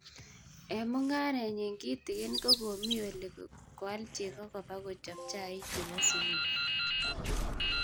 Eng mog'areenyii kitikin ko komii olii koal chego kobak kochob chaik che bo subui.